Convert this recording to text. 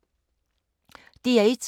DR1